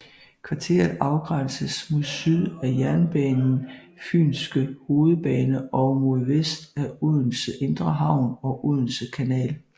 Kvarteret afgrænses mod syd af jernbanen Fynske hovedbane og mod vest af Odense Indre Havn og Odense Kanal